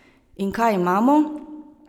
In kaj imamo?